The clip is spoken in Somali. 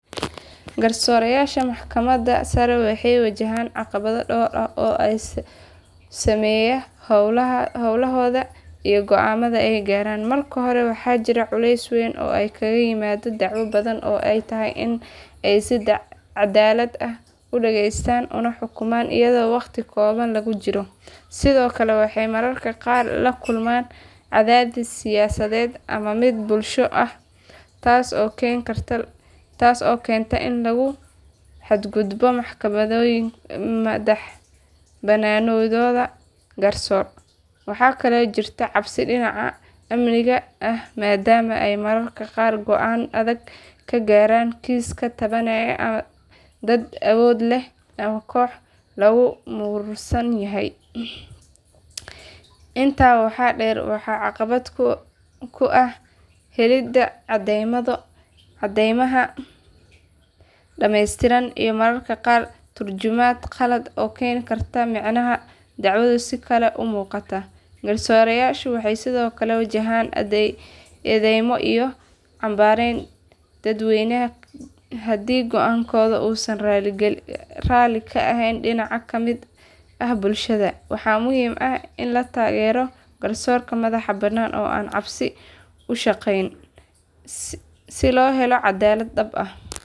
Garsoorayaasha maxkamadda sare waxay wajahaan caqabado dhowr ah oo saameeya howlahooda iyo go’aamada ay gaaraan. Marka hore waxaa jirta culays weyn oo kaga yimaada dacwado badan oo ay tahay in ay si cadaalad ah u dhageystaan una xukumaan iyadoo waqti kooban lagu jiro. Sidoo kale waxay mararka qaar la kulmaan cadaadis siyaasadeed ama mid bulsho taas oo keenta in lagu xadgudbo madaxbannaanidooda garsoor. Waxaa kaloo jirta cabsi dhinaca amniga ah maadaama ay mararka qaar go’aamo adag ka gaaraan kiisaska taabanaya dad awood leh ama kooxo lagu muransan yahay. Intaa waxaa dheer waxaa caqabad ku ah helidda caddeymo dhameystiran iyo mararka qaar turjumaad khaldan oo keenta in macnaha dacwadu si kale u muuqato. Garsoorayaashu waxay sidoo kale wajahaan eedeymo iyo canbaarayn dadweyne haddii go’aankooda uusan raalli ka ahayn dhinac ka mid ah bulshada. Waxaa muhiim ah in la taageero garsoorka madax bannaan oo aan cabsi ku shaqeynin si loo helo caddaalad dhab ah.